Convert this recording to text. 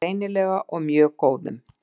Greinilega mjög góðum.